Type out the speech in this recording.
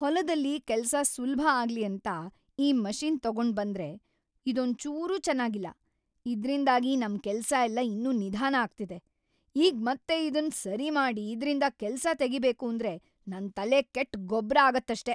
ಹೊಲದಲ್ಲಿ ಕೆಲ್ಸ ಸುಲ್ಭ ಆಗ್ಲಿ ಅಂತ ಈ ಮಷಿನ್‌ ತಗೊಂಡ್ಬಂದ್ರೆ ಇದೊಂಚೂರೂ ಚೆನಾಗಿಲ್ಲ, ಇದ್ರಿಂದಾಗಿ ನಮ್‌ ಕೆಲ್ಸ ಎಲ್ಲ ಇನ್ನೂ ನಿಧಾನ ಆಗ್ತಿದೆ, ಈಗ್ ಮತ್ತೆ ಇದುನ್‌ ಸರಿ ಮಾಡಿ ಇದ್ರಿಂದ ಕೆಲ್ಸ ತೆಗೀಬೇಕೂಂದ್ರೆ ನನ್‌ ತಲೆ ಕೆಟ್‌ ಗೊಬ್ರ ಆಗತ್ತಷ್ಟೇ.